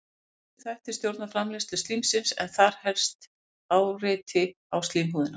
Ýmsir þættir stjórna framleiðslu slímsins en þar helst er áreiti á slímhúðina.